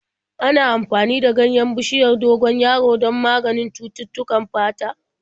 Ana amfani da ganyen bishiyar dogon yaro don maganin cututtukan fata.